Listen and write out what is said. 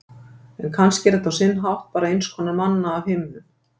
En kannski er þetta á sinn hátt bara einskonar manna af himnum.